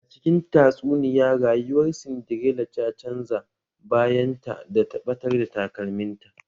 A cikin tatsuniya rayuwar Sindirela ta canza bayan ta da ta batar da takalmin ta